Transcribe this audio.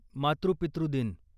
मातृ पितृ दिन